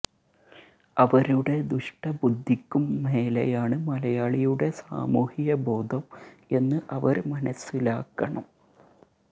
അവരുടെ ദുഷ്ട ബുദ്ധിക്കും മേലെയാണ് മലയാളിയുടെ സാമൂഹ്യ ബോധം എന്ന് അവര് മനസ്സിലാക്കണം